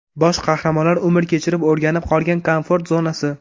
Bosh qahramonlar umr kechirib o‘rganib qolgan komfort zonasi.